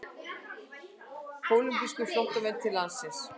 Kólumbískir flóttamenn til landsins